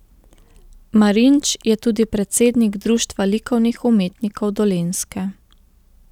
Marinč je tudi predsednik Društva likovnih umetnikov Dolenjske.